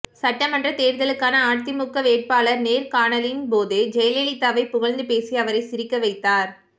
சட்டமன்றத் தேர்தலுக்கான அதிமுக வேட்பாளர் நேர்காணலின்போது ஜெயலலிதாவை புகழ்ந்துபேசி அவரை சிரிக்கவைத்தார்